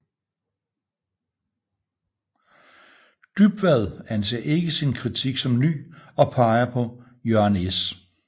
Dybvad anser ikke sin kritik som ny og peger på Jørgen S